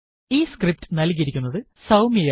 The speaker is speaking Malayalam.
ഈ സ്ക്രിപ്റ്റ് നല്കിയിരിക്കുന്നത് സൌമ്യ ആണ്